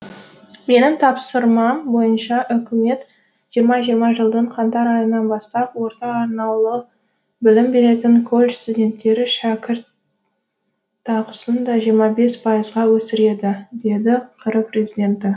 менің тапсырмам бойынша үкімет жиырма жиырма жылдың қаңтар айынан бастап орта арнаулы білім беретін колледж студенттері шәкірт ақысын да жиырма бес пайызға өсіреді деді қр президенті